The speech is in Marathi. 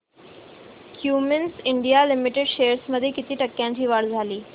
क्युमिंस इंडिया लिमिटेड शेअर्स मध्ये किती टक्क्यांची वाढ झाली